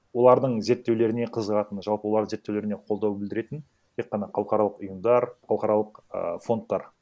олардың зерттеулеріне қызығатын жалпы олардың зерттеулеріне қолдау білдіретін тек қана халықаралық ұйымдар халықаралық і фондтар